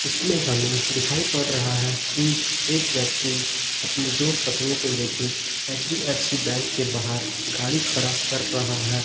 इसमें हमें दिखाई पड़ रहा है कि एक व्यक्ति अपनी दो पत्नी को लेके एच_डी_एफ_सी बैंक के बाहर गाड़ी खड़ा कर रहा है।